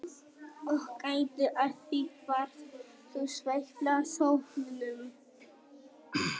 Og gættu að því hvar þú sveifla sópnum.